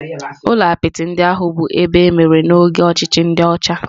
Ụlọ apịtị ndị ahụ bụ ebe emere n'oge ọchịchị ndi ocha.